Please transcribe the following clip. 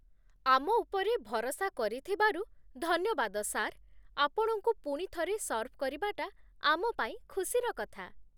ଆମ ଉପରେ ଭରସା କରିଥିବାରୁ ଧନ୍ୟବାଦ, ସାର୍ । ଆପଣଙ୍କୁ ପୁଣିଥରେ ସର୍ଭ କରିବାଟା ଆମ ପାଇଁ ଖୁସିର କଥା ।